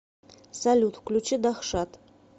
салют включи дахшат